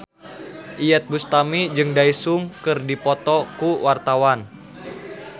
Iyeth Bustami jeung Daesung keur dipoto ku wartawan